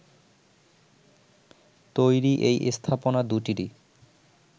তৈরি এই স্থাপনা দুটিরই